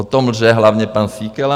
O tom lže hlavně pan Síkela.